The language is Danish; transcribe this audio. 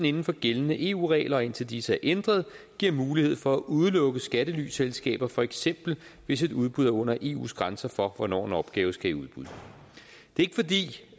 inden for gældende eu regler og indtil disse er ændret giver mulighed for at udelukke skattelyselskaber for eksempel hvis et udbud er under eus grænser for hvornår en opgave skal i udbud det